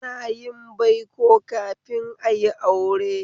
Ana yin baiko kafin ayi aure